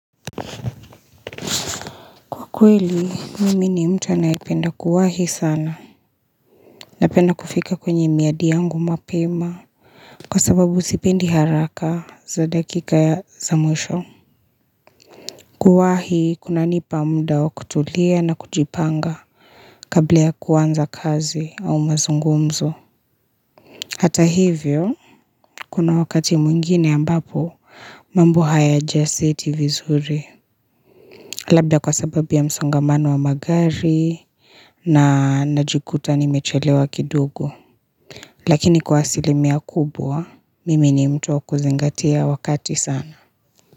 Kwa kweli, mimi ni mta naipenda kuwahi sana. Napenda kufika kwenye miadi yangu mapema. Kwa sababu sipendi haraka za dakika ya za mwisho. Kuwahi, kuna nipa mdao kutulia na kujipanga kablea kuwanza kazi au mazungumzo. Hata hivyo, kuna wakati mwingine ambapo mambo haya jaseti vizuri. Labda kwa sababu ya msongamano wa magari na najikuta ni mechelewa kidugo. Lakini kwa silimia kubwa, mimi ni mtuwa kuzingatia wakati sana.